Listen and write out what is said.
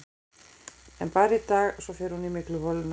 En bara í dag, svo fer hún í mygluholuna.